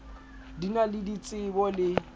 di na le ditsebo le